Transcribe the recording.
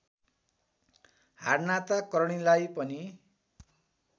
हाडनाता करणीलाई पनि